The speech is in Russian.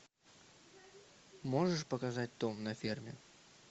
можешь показать том на ферме